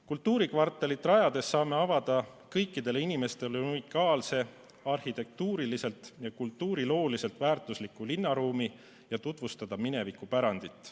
Kultuurikvartalit rajades saame avada kõikidele inimestele unikaalse, arhitektuuriliselt ja kultuurilooliselt väärtusliku linnaruumi ja tutvustada minevikupärandit.